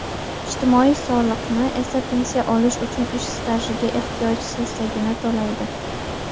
ijtimoiy soliqni esa pensiya olish uchun ish stajiga ehtiyoj sezsagina to‘laydi.